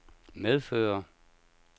medføre